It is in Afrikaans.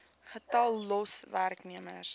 getal los werknemers